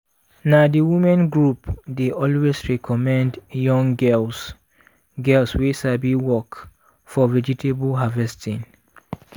na the women group dey always recommend young girls girls wey sabi work for vegetable harvesting.